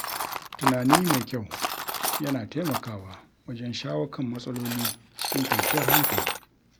Tunani mai kyau, yana taimakawa wajen shawo kan matsaloli cikin kwanciyar hankali.